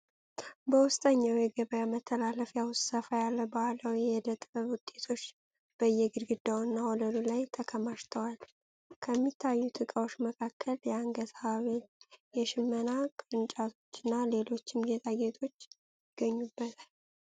በውስጠኛው የገበያ መተላለፊያ ውስጥ ሰፋ ያለ ባህላዊ የእደ ጥበብ ውጤቶች በየግድግዳውና ወለሉ ላይ ተከማችተዋል። ከሚታዩት ዕቃዎች መካከል የአንገት ሐብል፣ የሽመና ቅርጫቶችና ሌሎችም ጌጣጌጦች ይገኙበታል።